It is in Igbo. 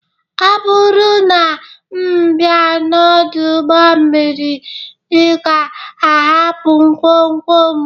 Ọ bụrụ na m bịa n'ọdụ ụgbọ mmiri, ị ga-ahapụ ngwongwo m?